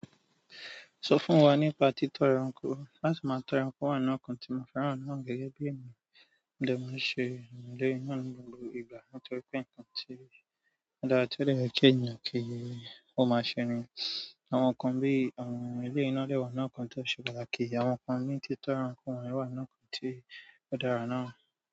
Sọ fún wa nípa títọ́ ẹranko. Láti máa tọ́ ẹranko o wa nínú nkan tí mo fẹ́ràn náà gẹ́gẹ́ bí ẹ̀niyan. Mo de máa ń ṣe eleyii náà ní gbogbo ìgbà nítorí pé nǹkan tí ó dára tí ó le jẹ́ èèyàn kí ó máa ṣe ni àwọn nǹkan bí awọ̀n eleyii na de wa nínú àwọn nkan tó ṣe pàtàkì, àwọn nǹkan bíi títọ́ ẹranko wa náà kan tí ó dára náà.